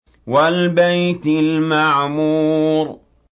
وَالْبَيْتِ الْمَعْمُورِ